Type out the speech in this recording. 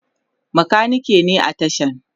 makaniki ne a tashan